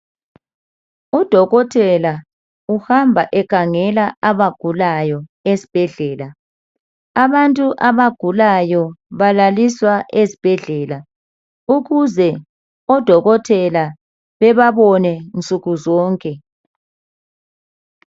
Udokotela uhamba ekhangela abagulayo esibhedlela abantu abagulayo balaliswa ezibhedlela ukuze odokotela bebabone nsukuzonke